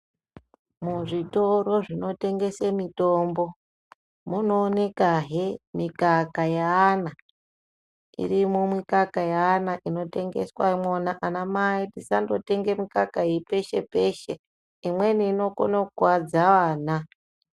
Muzvitoro zvinotengese mitombo, munoonekahe mikaka yeana. Irimwo mikaka yeana inotengeswa mwona. Anamai tisandotenge mikaka iyi peshe-peshe. Imweni inokona kukuwadza ana.